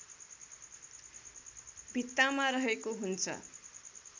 भित्तामा रहेको हुन्छ